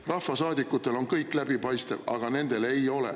Rahvasaadikutel on kõik läbipaistev, aga nendel ei ole.